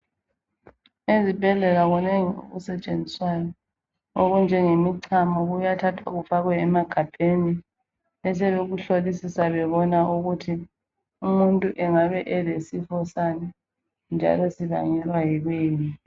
Ezibhedlela kunengi okusetshenziswayo okunjengemichamo kuyathathwa kufakwe emagabheni besebekuhlolisisa bebona ukuthi umuntu engabe elesifo sani njalo sibangelwa yikuyini.